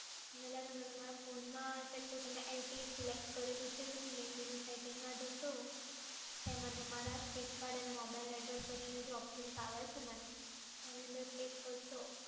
તો આના માટે તમારા ફોન મા ચેક તમે LTEselect કરેલું છે કે તો એની main menu setting મા જશો તો એમાં તમારા sim card અને mobile network કરીને જે ઓપશન આવે છે મેમ એની અંદર ક્લિક કરશો